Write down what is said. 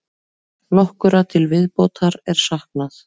Nokkurra til viðbótar er saknað.